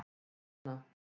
Jenna